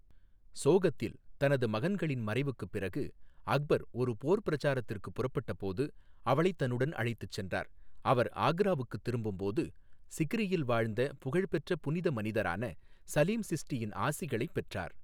சோகத்தில், தனது மகன்களின் மறைவுக்குப் பிறகு அக்பர் ஒரு போர் பிரச்சாரத்திற்கு புறப்பட்ட போது அவளைத் தன்னுடன் அழைத்துச் சென்றார், அவர் ஆக்ராவுக்குத் திரும்பும் போது, சிக்ரியில் வாழ்ந்த புகழ்பெற்ற புனித மனிதரான சலீம் சிஸ்டியின் ஆசிகளைப் பெற்றார்.